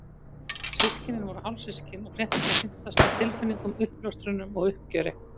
Systkinin voru hálfsystkin og fréttirnar hrintu af stað tilfinningum, uppljóstrunum og uppgjöri.